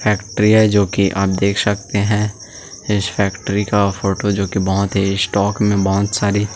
factory है जो कि आप देख सकते हैं इस फैक्ट्री का फोटो बहुत ही स्टॉक में बहुत सारी--